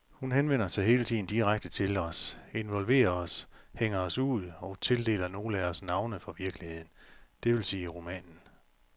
Hun henvender sig hele tiden direkte til os, involverer os, hænger os ud, og tildeler nogle af os navne fra virkeligheden, det vil sige romanen.